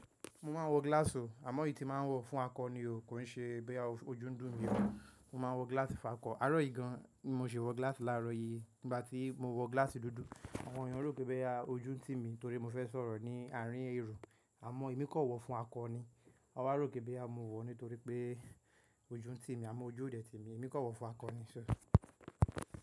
Mo máa ń wọ glass o, àmọ́ èyí tí máa ń wọ fún akọ ni òó, kò ń ṣe bóyá ọjún ń dùn mí ó. Mo máa ń wọ glass fákọ. Àárọ̀ yìí gan an mo ṣe wọ glass láàárọ̀ yìí. Nígbà tí mo wọ glass dúdú, àwọn ènyàn rò pé bẹ ọjún tì mí torí mo fẹ́ sọ̀rọ̀ ní àárín ẹro, àmọ́ èmi kọ̀ wọ fún akọ ni. Won wá rò pé bóyá mo wọ̀ nítorí pé ọjún tì mí, àmọ́ ojú ò dè tí mí, èmi kọ̀ wọ fún akọ ni ṣe.